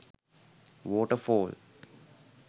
water fall